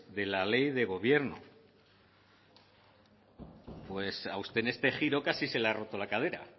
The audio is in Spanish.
de la ley de gobierno pues a usted en este giro casi se le ha roto la cadera